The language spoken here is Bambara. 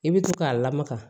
I bɛ to k'a lamaga